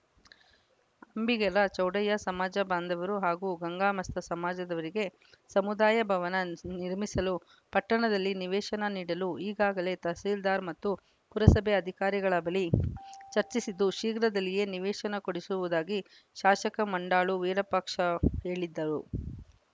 ಅಂಬಿಗರ ಚೌಡಯ್ಯ ಸಮಾಜ ಬಾಂಧವರು ಹಾಗೂ ಗಂಗಾ ಮಸ್ತ ಸಮಾಜದವರಿಗೆ ಸಮುದಾಯ ಭವನ ನ್ ನಿರ್ಮಿಸಿಕೊಳ್ಳಲು ಪಟ್ಟಣದಲ್ಲಿ ನಿವೇಶನ ನೀಡಲು ಈಗಾಗಲೇ ತಹಶೀಲ್ದಾರ್‌ ಮತ್ತು ಪುರಸಭೆ ಅಧಿಕಾರಿಗಳ ಬಳಿ ಚರ್ಚಿಸಿದ್ದು ಶೀಘ್ರದಲ್ಲಿಯೇ ನಿವೇಶನ ಕೊಡಿಸುವುದಾಗಿ ಶಾಸಕ ಮಂಡಾಳು ವೀರಪಾಕ್ಷ ಹೇಳಿದರು